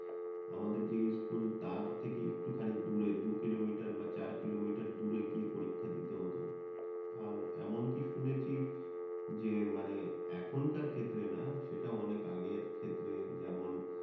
আমাদের যে ইস্কুল তার থেকে একটুখানি দূরে দু কিলোমিটার বা চার কিলোমিটার দূরে গিয়ে পরীক্ষা দিতে হত। আর এমনকি শুনেছি যে মানে এখনকার ক্ষেত্রে না সেটা অনেক আগের ক্ষেত্রে যেমন